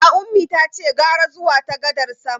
A'a, Ummi tace gara zuwa ta gadar sama.